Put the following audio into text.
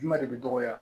Ɲuman de bɛ dɔgɔya